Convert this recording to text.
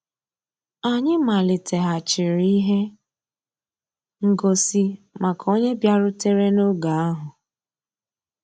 Ànyị́ màlìtéghàchíré íhé ngósì màkà ónyé bìàrùtérè n'ògé ahụ́.